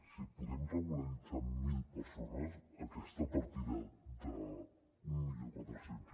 si podem regularitzar mil persones aquesta partida d’mil quatre cents